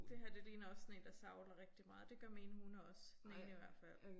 Det her det ligner også sådan én der savler rigtig meget. Det gør mine hunde også. Den ene i hvert fald